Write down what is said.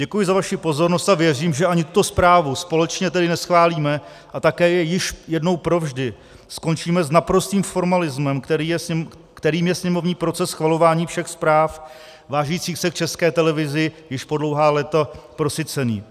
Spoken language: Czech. Děkuji za vaši pozornost a věřím, že ani tuto zprávu společně tedy neschválíme a také již jednou provždy skončíme s naprostým formalismem, kterým je sněmovní proces schvalování všech zpráv vážících se k České televizi již po dlouhá léta prosycený.